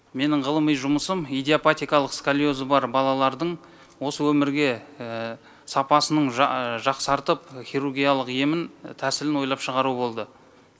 менің ғылыми жұмысым идиопатикалық сколиозы бар балалардың осы өмірге сапасының жақсартып хирургиялық емін тәсілін ойлап шығару болды